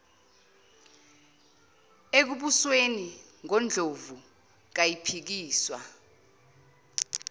ekubusweni ngondlovu kayiphikiswa